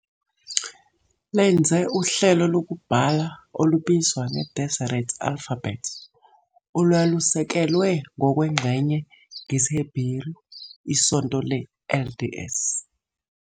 lenze uhlelo lokubhala olubizwa nge- Deseret Alphabet, olwalusekelwe, ngokwengxenye, ngesiHeberu. Isonto le-LDS